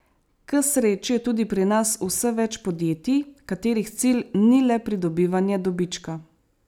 K sreči je tudi pri nas vse več podjetij, katerih cilj ni le pridobivanje dobička.